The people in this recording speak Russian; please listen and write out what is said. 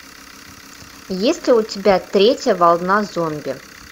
есть ли у тебя третья волна зомби